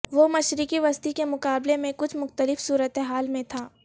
وہ مشرق وسطی کے مقابلے میں کچھ مختلف صورت حال میں تھا